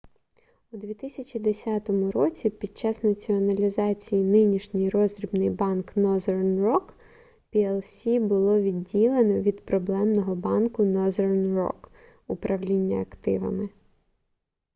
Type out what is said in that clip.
у 2010 році під час націоналізації нинішній роздрібний банк northern rock plc було відділено від проблемного банку northern rock управління активами